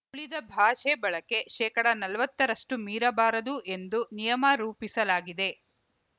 ಉಳಿದ ಭಾಷೆ ಬಳಕೆ ಶೇಕಡಾನಲವತ್ತರಷ್ಟುಮೀರಬಾರದು ಎಂದು ನಿಯಮ ರೂಪಿಸಲಾಗಿದೆ